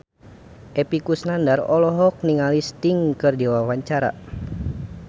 Epy Kusnandar olohok ningali Sting keur diwawancara